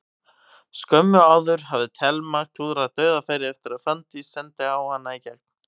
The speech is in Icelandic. Skömmu áður hafði Telma klúðrað dauðafæri eftir að Fanndís sendi hana í gegn.